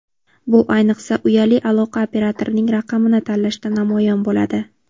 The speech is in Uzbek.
Bu, ayniqsa, uyali aloqa operatorining raqamini tanlashda namoyon bo‘ladi.